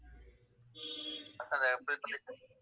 first அத fill பண்ணிட்டு